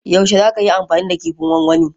Yaushe za ka yi amfani da kifin gwangwani?